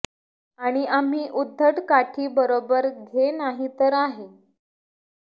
आणि आम्ही उद्धट काठी बरोबर घे नाही तर आहे